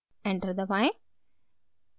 enter दबाएं